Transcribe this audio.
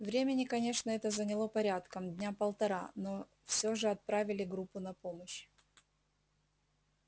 времени конечно это заняло порядком дня полтора но все же отправили группу на помощь